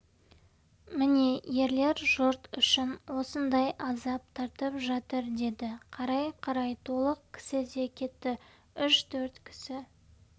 міне ерлер жұрт үшін осындай азап тартып жатыр деді қарай-қарай толық кісі де кетті үш-төрт кісі